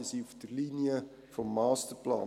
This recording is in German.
Sie sind auf der Linie des Masterplans.